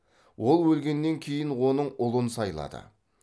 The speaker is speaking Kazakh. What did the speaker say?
ол өлгеннен кейін оның ұлын сайлады